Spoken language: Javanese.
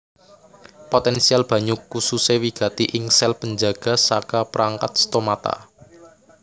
Potensial banyu kususe wigati ing sel panjaga saka perangkat stomata